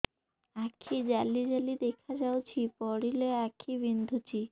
ଆଖି ଜାଲି ଜାଲି ଦେଖାଯାଉଛି ପଢିଲେ ଆଖି ବିନ୍ଧୁଛି